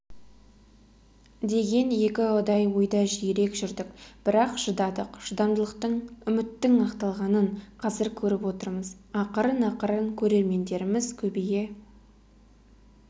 деген екіұдай ойда жиірек жүрдік бірақ шыдадық шыдамдылықтың үміттің ақталғанын қазір көріп отырмыз ақырын-ақырын көрермендеріміз көбейе